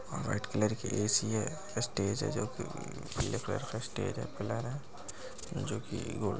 और white colour की AC है स्टेज है जो कि पीले कलर का स्टेज है पिलर है जो कि गो --